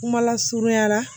Kuma lasurunyara